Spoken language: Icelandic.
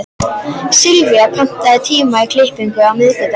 Sylvía, pantaðu tíma í klippingu á miðvikudaginn.